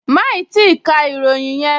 Máì tíì ka ìròyìn yẹn!